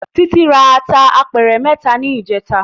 Titi rá àtá àpèrè mètá nijètá